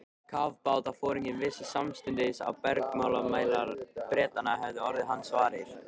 Kafbátsforinginn vissi samstundis að bergmálsmælar Bretanna hefðu orðið hans varir.